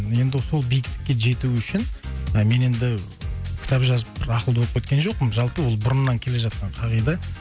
енді сол биіктікке жету үшін ы мен енді кітап жазып бір ақылды болып кеткен жоқпын жалпы ол бұрыннан келе жатқан қағида